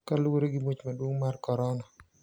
Kaluwore gi muoch maduong` mar Korona